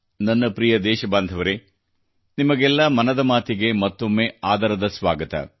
ನನ್ನ ಪ್ರಿಯ ದೇಶಬಾಂಧವರೆ ಮನದ ಮಾತಿಗೆ ನಿಮಗೆಲ್ಲ ಮನದ ಮಾತಿಗೆ ಮತ್ತೊಮ್ಮೆ ಆದರದ ಸ್ವಾಗತ